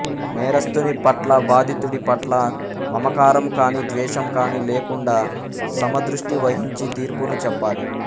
నేరస్థుని పట్ల బాధితుడి పట్ల మమకారము కాని ద్వేషము కాని లేకుండా సమదృష్టి వహించి తీర్పును చెప్పాలి